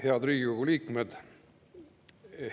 Head Riigikogu liikmed!